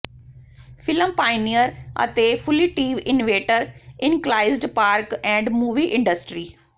film pioneer ਅਤੇ ਫੁਲਿਟੀਵ inventor ਇਨਕਲਾਇਜ਼ਡ ਪਾਰਕ ਐਂਡ ਮੂਵੀ ਇੰਡਸਟਰੀ